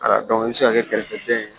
i bɛ se ka kɛ kɛrɛfɛ den ye